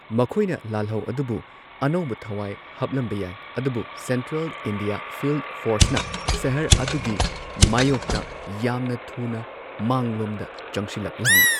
ꯃꯈꯣꯏꯅ ꯂꯥꯜꯍꯧ ꯑꯗꯨꯕꯨ ꯑꯅꯧꯕ ꯊꯋꯥꯏ ꯍꯥꯞꯂꯝꯕ ꯌꯥꯏ ꯑꯗꯨꯕꯨ ꯁꯦꯟꯇ꯭ꯔꯦꯜ ꯏꯟꯗꯤꯌꯥ ꯐꯤꯜꯗ ꯐꯣꯔꯁꯅ ꯁꯍꯔ ꯑꯗꯨꯒꯤ ꯃꯥꯌꯣꯛꯇ ꯌꯥꯝꯅ ꯊꯨꯅ ꯃꯥꯡꯂꯣꯝꯗ ꯆꯪꯁꯤꯜꯂꯛꯂꯝꯃꯤ꯫